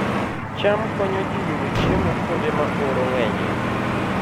cham konyo ji yudo chiemo kuonde ma oro ng'enyie